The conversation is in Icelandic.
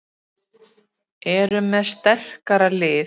Erum með sterkara lið